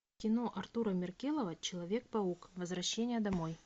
кино артура меркелова человек паук возвращение домой